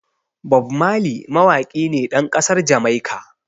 Bob Marley mawaƙi ne ɗan ƙasar Jamaica.